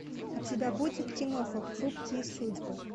у тебя будет киноха хрупкие судьбы